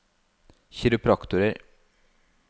kiropraktorer